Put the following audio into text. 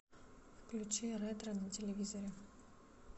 включи ретро на телевизоре